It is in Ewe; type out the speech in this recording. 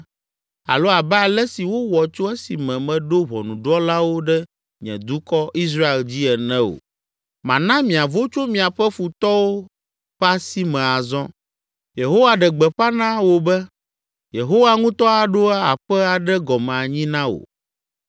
alo abe ale si wowɔ tso esime meɖo ʋɔnudrɔ̃lawo ɖe nye dukɔ, Israel dzi ene o. Mana miavo tso miaƒe futɔwo ƒe asi me azɔ. “ ‘Yehowa ɖe gbeƒã na wò be, Yehowa ŋutɔ aɖo aƒe aɖe gɔme anyi na wò.